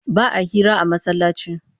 Ba a hira a masallaci